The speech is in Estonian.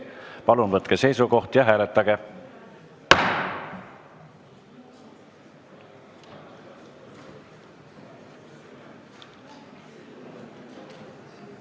Palun võtke seisukoht ja hääletage!